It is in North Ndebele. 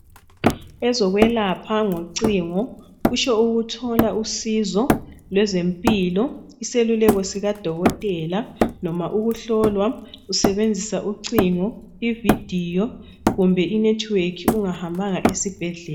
Ezokwelapha ngocingo kutsho ukuthola usizo lezempilo, iseluleko sikadokotela, noma ukuhlolwa usebenzisa ucingo, ividiyo kumbe inethiwekhi ungahambanga esibhedlela.